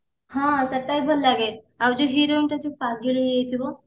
ହଁ ସେଟା ବି ଭଲ ଲାଗେ ଆଉ ଯାଉ heroine ଟା ଯୋଉ ପାଗେଳି ହେଇଯାଇଥିବ